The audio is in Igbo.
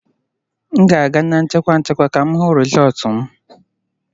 M ga-aga na nchịkwa nchịkwa ka m hụ rịzọlt m